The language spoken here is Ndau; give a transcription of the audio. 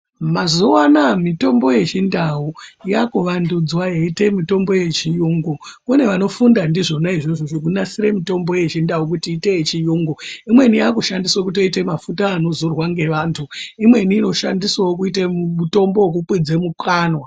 Mazuwa anaya mitombo yechindau yava kuvandudzwa yeite mutombo yechiyungu kune vanofunda ndizvona zvekubasire mitombo yechindau kuite yechiyungu imwene yava kuto shandiswa kuita mafuta anozorwa nevantu imweni ino shandiswawo kuite mutombo wekukwidze mumukanwa.